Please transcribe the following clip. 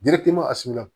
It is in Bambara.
a surunya